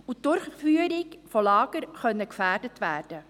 Die Durchführung der Lager könnten gefährdet werden.